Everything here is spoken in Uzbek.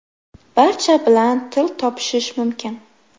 Barcha bilan til topishish mumkin.